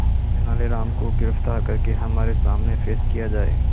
तेनालीराम को गिरफ्तार करके हमारे सामने पेश किया जाए